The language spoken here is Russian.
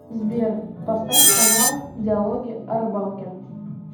сбер поставь канал диалоги о рыбалке